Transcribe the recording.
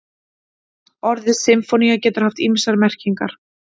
Orðið sinfónía getur haft ýmsar merkingar.